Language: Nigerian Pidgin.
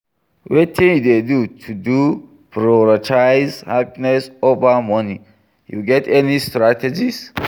Wetin you dey do to prioritize happiness over money, you get any strategies?